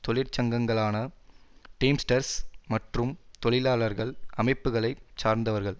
தொழிற்சங்கங்களான Teamsters மற்றும் தொழிலாளர் அமைப்புகளை சார்ந்தவர்கள்